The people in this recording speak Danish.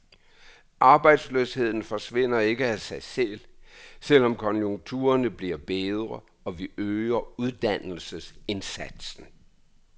Arbejdsløsheden forsvinder ikke af sig selv, selv om konjunkturerne bliver bedre og vi øger uddannelsesindsatsen.